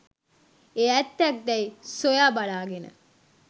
එය ඇත්තක් දැයි සොයා බලාගෙන